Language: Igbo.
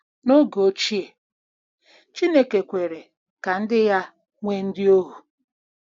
N’oge ochie, Chineke kwere ka ndị ya nwee ndị ohu.